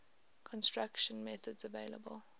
construction methods available